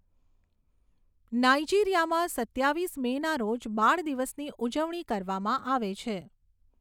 નાઇજીરિયામાં સત્તાવીસ મેના રોજ બાળ દિવસની ઉજવણી કરવામાં આવે છે.